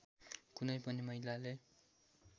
कुनै पनि महिलाले